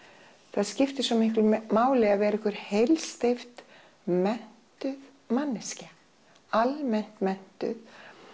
það skiptir svo miklu máli að vera einhver heilsteypt menntuð manneskja almennt menntuð